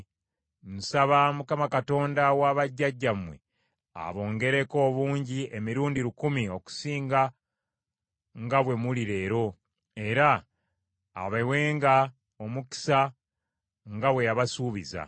Nsaba Mukama Katonda wa bajjajjammwe abongereko obungi emirundi lukumi okusinga nga bwe muli leero, era abawenga omukisa nga bwe yabasuubiza.